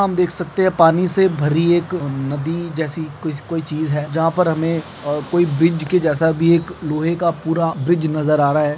हम देख सकते हैं पानी से भरी एक नदी जैसी कोई चीज है जहाँ पर हमें अ कोई ब्रिज के जैसा भी एक लोहे का पूरा ब्रिज नजर आ रहा है।